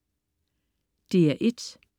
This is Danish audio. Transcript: DR1: